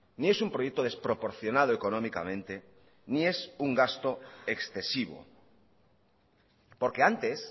ni es un proyecto desproporcionado económicamente ni es un gasto excesivo porque antes